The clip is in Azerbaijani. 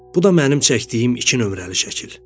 Bu da mənim çəkdiyim iki nömrəli şəkil.